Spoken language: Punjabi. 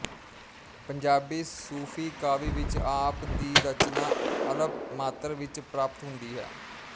ਪੰਜਾਬੀ ਸੂਫ਼ੀ ਕਾਵਿ ਵਿੱਚ ਆਪ ਦੀ ਰਚਨਾ ਅਲਪ ਮਾਤਰ ਵਿੱਚ ਪ੍ਰਾਪਤ ਹੁੰਦੀ ਹੈ